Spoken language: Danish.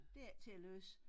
Det ikke til at løse